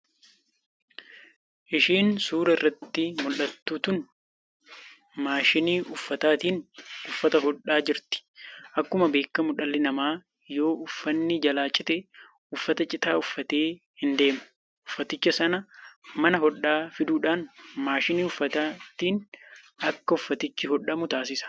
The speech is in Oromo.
Ishiin suuraa irratti muldhattu tun maashinii uffataatiin uffata hodhaa jirti. Akkuma beekkamu dhalli namaa yoo uffanni jalaa cite uffata citaa uffatee hin deemu. Uffaticha san mana hodhaa fiduudhaan maashinii uffataatiin akka uffatichi hodhamu taasisu.